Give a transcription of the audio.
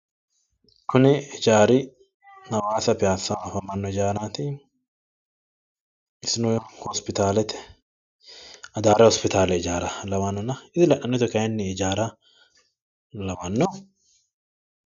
Kuni hijaari hawaasa piyassaho afamanno hijaaraati. Isino hosipitaalete adaare hospitaale lawannona hijaara isi kayiinni la'nanni woyite hijaara lawanno?